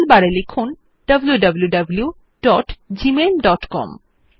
আমরা কিছু নির্দিষ্ট টেক্সট কনটেন্টস আরিয়া থকে ফাইন্ড barএর সাহায্যে খুঁজে বের করতে পারি